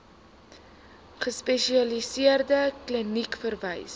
gespesialiseerde kliniek verwys